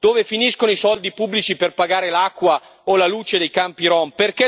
Dove finiscono i soldi pubblici per pagare l'acqua o la luce dei campi rom?